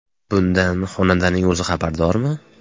Bundan xonandaning o‘zi xabardormi?.